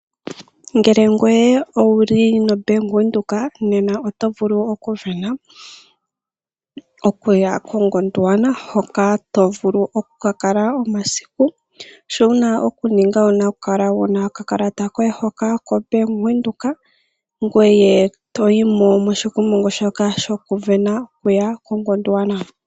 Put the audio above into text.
Ngele ngweye owuli noBank-Windhoeka oto vulu okuvena, okuya koGondwana hoka to vulu okuka kala omasiku. Sho wuna okuninga owuna okukala wuna okakalata koye koBank-Windhoek, ngoye toyi mo moshikumungu shoka shokuvena huya koGondwana.